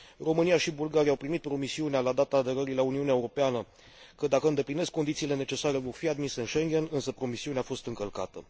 România și Bulgaria au primit promisiunea, la data aderării la Uniunea Europeană, că, dacă îndeplinesc condițiile necesare, vor fi admise în Schengen, însă promisiunea a fost încălcată.